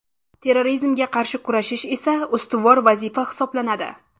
Terrorizmga qarshi kurashish esa ustuvor vazifa hisoblanadi.